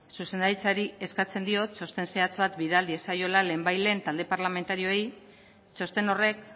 zuzendaritzari eskatzen dio txosten zehatz bat bidali diezaiola lehen bait lehen talde parlamentarioei txosten horrek